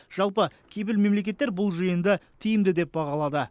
жалпы кепіл мемлекеттер бұл жиынды тиімді деп бағалады